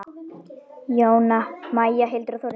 Jóna Maja, Hildur og Þórunn.